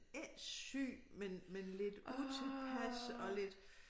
Ikke syg men men lidt utilpas og lidt